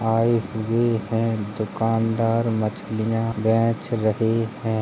आये हुए हैं। दुकानदार मछलियाँ बेच रहे हैं।